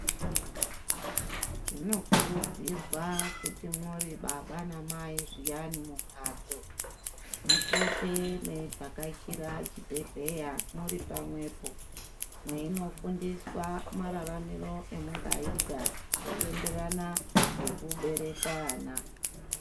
Zvinokurudzirwa kuti muri baba namai zviyani mumhatso mupote mweivhakachira chibhehleya muri pamwepo mweino fundiswa maramiro emungaita zveienderana ngekubereka ana.